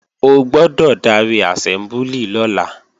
O gbọ́dọ̀ darí àsẹ́mbúlì lọ́la!